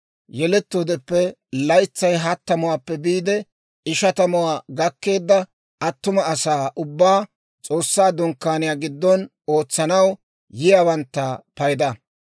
yelettoodeppe laytsay hattamuwaappe biide ishatamuwaa gakkeedda attuma asaa ubbaa, S'oossaa Dunkkaaniyaa giddon ootsanaw yiyaawantta payda.